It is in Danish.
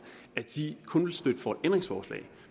kun vil stemme for et ændringsforslag